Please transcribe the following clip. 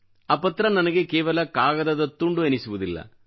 ಆ ಪತ್ರ ನನಗೆ ಕೇವಲ ಕಾಗದದ ತುಂಡು ಎನಿಸುವುದಿಲ್ಲ